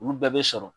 Olu bɛɛ bɛ sɔrɔ